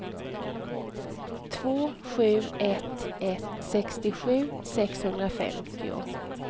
två sju ett ett sextiosju sexhundrafemtio